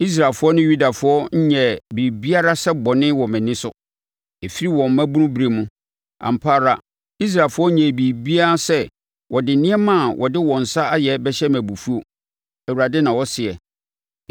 “Israelfoɔ ne Yudafoɔ nyɛɛ biribiara sɛ bɔne wɔ mʼani so, ɛfiri wɔn mmabunu berɛ mu; ampa ara Israelfoɔ nnyɛɛ biribiara sɛ wɔde nneɛma a wɔde wɔn nsa ayɛ bɛhyɛ me abufuo, Awurade na ɔseɛ.